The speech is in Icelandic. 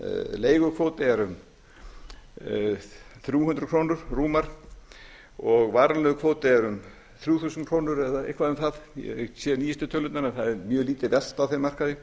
leigukvóti er rúmar þrjú hundruð krónur og varanlegur kvóti er um þrjú þúsund krónur eða eitthvað um það ég hef ekki séð nýjustu tölurnar en það er mjög lítil velta á þeim markaði